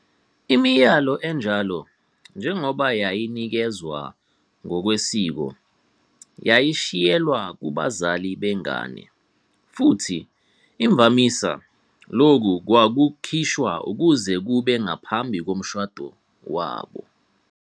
Imiyalo enjalo, njengoba yayinikezwa, ngokwesiko yayishiyelwa kubazali bengane, futhi imvamisa lokhu kwakukhishwa kuze kube ngaphambi komshado wabo.